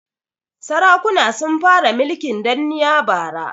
Sarakuna sun fara mulkin danniya bara.